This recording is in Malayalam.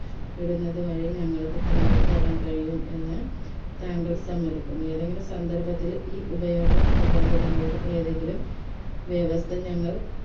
ഇടുന്നത് വഴി ഞങ്ങൾക്ക് താങ്കൾക്ക് തെരാൻ കഴിയും എന്ന് താങ്കൾ സമ്മതിക്കും ഏതെങ്കിലും സന്ദർഭത്തിൽ ഈ ഉപയോഗനിബന്ധനകളിൽ ഏതെങ്കിലും വ്യവസ്ഥ ഞങ്ങൾ